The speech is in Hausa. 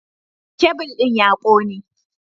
Kebul ɗin ya kone